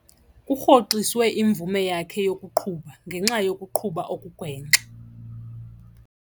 Kurhoxiswe imvume yakhe yokuqhuba ngenxa yokuqhuba okugwenxa.